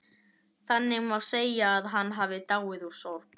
Þannig má segja að hann hafi dáið úr sorg.